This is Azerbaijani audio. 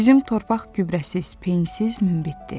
Bizim torpaq gübrəsiz, peyinsiz münbitdir.